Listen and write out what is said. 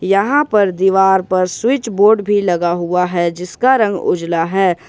यहां पर दीवार पर स्विच बोर्ड भी लगा हुआ हैं जिसका रंग उजला है।